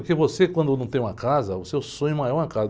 Porque você, quando não tem uma casa, o seu sonho maior é uma casa.